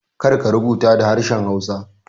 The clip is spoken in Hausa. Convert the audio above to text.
Kar ka rubuta da harshen hausa